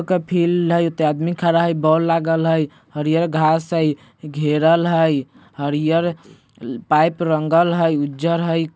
फील्ड हय ओता आदमी खड़ा हय बोल लागल हय हरियर घास हय घेरल हय हरियर पाइप रंगल हय उज्जर हय।